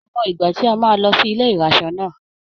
Mi ò mọ ìgbà tí a máa lọ sí ilé ìraṣọ náà.